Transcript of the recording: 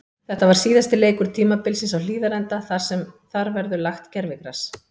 Þetta var síðasti leikur tímabilsins á Hlíðarenda þar sem þar verður lagt gervigras.